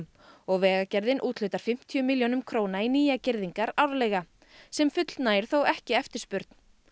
og Vegagerðin úthlutar fimmtíu milljónum króna í nýjar girðingar árlega sem fullnægir þó ekki eftirspurn